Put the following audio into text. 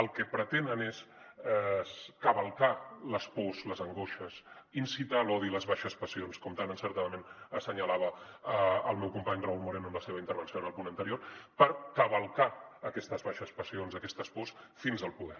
el que pretenen és cavalcar les pors les angoixes incitar a l’odi i a les baixes passions com tan encertadament assenyalava el meu company raúl moreno en la seva intervenció en el punt anterior cavalcar aquestes baixes passions i aquestes pors fins al poder